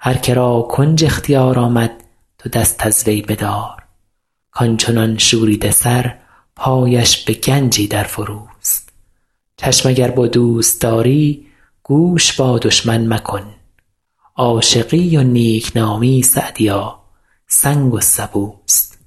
هر که را کنج اختیار آمد تو دست از وی بدار کان چنان شوریده سر پایش به گنجی در فروست چشم اگر با دوست داری گوش با دشمن مکن عاشقی و نیک نامی سعدیا سنگ و سبوست